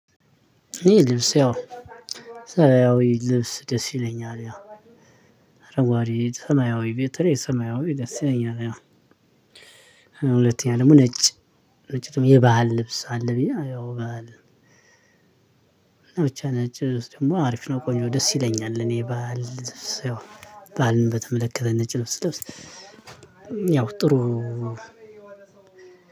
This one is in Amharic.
እሄ ልብስ ያው ሰማያዊ ልብስ ደስ ይለኛል ያው አረጓዴ ሰማያዊ በተለይ ሰማዊ ደስ ይለኛል። ሁለተኛ ደግሞ ነጭ ነጭ የባህል ልብስ አለ ብዬ አዎ ባህል። ብቻ ነጭ ደግሞ አሪፍ ነው ቆኜ ደስ ይለኛል። እኔ ባል በዓልን በተመለከተ ነጭ ልብስ ስለብስ ያው ጥሩ